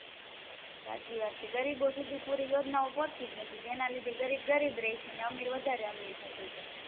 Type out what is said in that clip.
સાચી વાત છે ગરીબો સુધી યોજના ઓં પોચતીજ નથી જેના લીધે ગરીબ ગરીબ રે છે અમીર વધારે અમીર થતું જાય છે